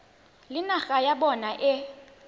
le naga ya bona e